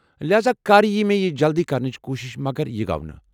لہذا کرییہِ مےٚ یہِ جلدِی کرنٕچ کوُشِش مگر یہِ گو نہٕ۔